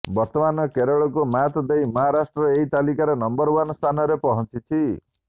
ବର୍ତ୍ତମାନ କେରଳକୁ ମାତ୍ ଦେଇ ମହାରାଷ୍ଟ୍ର ଏହି ତାଲିକାର ନମ୍ବର ୱାନ୍ ସ୍ଥାନରେ ପହଞ୍ଚିଛି